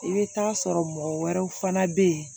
I bɛ taa sɔrɔ mɔgɔ wɛrɛw fana bɛ yen